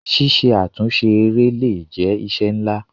Ṣíṣe àtúnṣe eré le è jẹ́ iṣẹ́ ńlá.